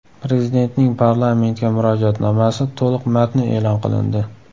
Prezidentning parlamentga murojaatnomasi to‘liq matni e’lon qilindi.